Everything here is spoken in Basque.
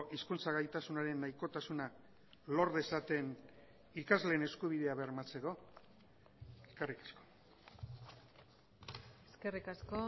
hizkuntza gaitasunaren nahikotasuna lor dezaten ikasleen eskubidea bermatzeko eskerrik asko eskerrik asko